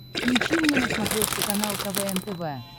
включи мне на смотрешке канал квн тв